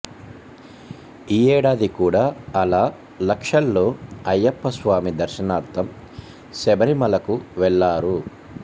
ఈ ఏడాది కూడా అలా లక్షల్లో అయ్యప్ప స్వామి దర్శనార్ధం శబరిమలకు వెళ్ళారు